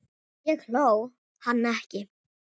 Ég hló, hann ekki.